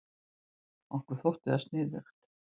Okkur þótti það sniðugt.